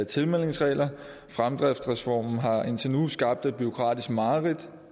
tilmeldingsregler fremdriftsreformen har indtil nu skabt et bureaukratisk mareridt